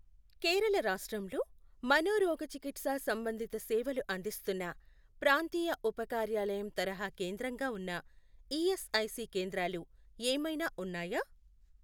కేరళ రాష్ట్రంలో మనోరోగచికిత్సా సంబంధిత సేవలు అందిస్తున్న ప్రాంతీయ ఉపకార్యాలయం తరహా కేంద్రంగా ఉన్న ఈఎస్ఐసి కేంద్రాలు ఏమైనా ఉన్నాయా?